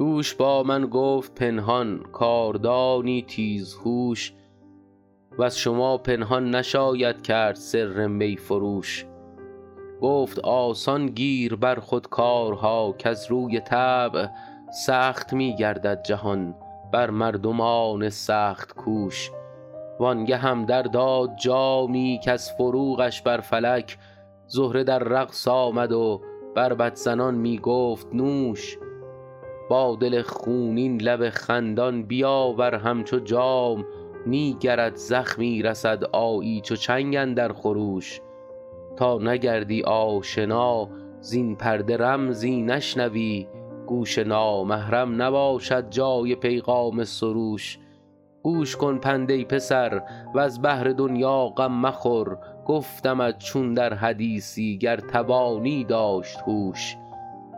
دوش با من گفت پنهان کاردانی تیزهوش وز شما پنهان نشاید کرد سر می فروش گفت آسان گیر بر خود کارها کز روی طبع سخت می گردد جهان بر مردمان سخت کوش وان گهم در داد جامی کز فروغش بر فلک زهره در رقص آمد و بربط زنان می گفت نوش با دل خونین لب خندان بیاور همچو جام نی گرت زخمی رسد آیی چو چنگ اندر خروش تا نگردی آشنا زین پرده رمزی نشنوی گوش نامحرم نباشد جای پیغام سروش گوش کن پند ای پسر وز بهر دنیا غم مخور گفتمت چون در حدیثی گر توانی داشت هوش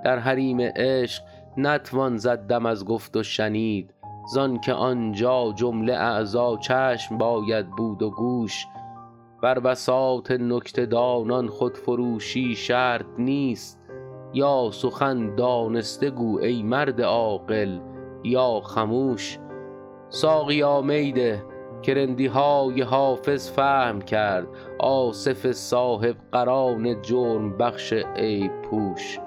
در حریم عشق نتوان زد دم از گفت و شنید زان که آنجا جمله اعضا چشم باید بود و گوش بر بساط نکته دانان خودفروشی شرط نیست یا سخن دانسته گو ای مرد عاقل یا خموش ساقیا می ده که رندی های حافظ فهم کرد آصف صاحب قران جرم بخش عیب پوش